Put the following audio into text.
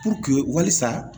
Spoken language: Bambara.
Puruke wasa